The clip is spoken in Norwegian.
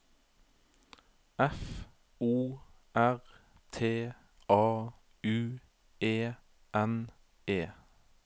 F O R T A U E N E